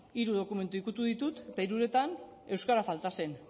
hiru dokumentu ikutu ditut eta hiruretan euskara falta zen